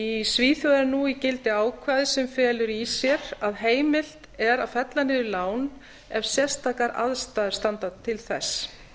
í svíþjóð er nú í gildi ákvæði sem felur í sér að heimilt er að fella niður lán ef sérstakar ástæður standa til þess þá